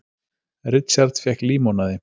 Richard fékk límonaði.